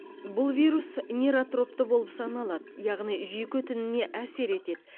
бұл вирус нейротропты болып саналады яғни жүйке тініне әсер етеді